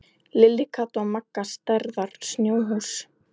Lilla, Kata og Magga stærðar snjóhús.